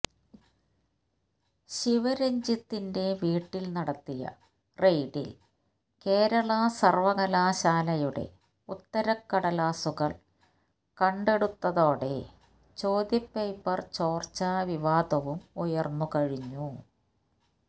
ശിവരഞ്ജിത്തിന്റെ വീട്ടിൽ നടത്തിയ റെയ്ഡിൽ കേരള സർവകലാശാലയുടെ ഉത്തരക്കടലാസുകൾ കണ്ടെടുത്തതോടെ ചോദ്യപേപ്പർ ചോർച്ചാ വിവാദവും ഉയർന്നുകഴിഞ്ഞു